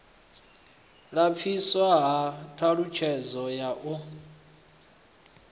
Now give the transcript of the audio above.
lapfiswa ha ṱhalutshedzo ya u